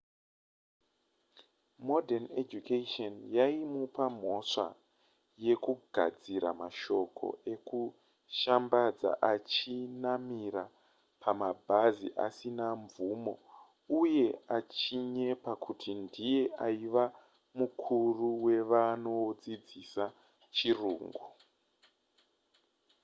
morden education yaimupa mhosva yekugadzira mashoko ekushambadza achinamira pamabhazi asina mvumo uye achinyepa kuti ndiye aiva mukuru wevanodzidzisa chirungu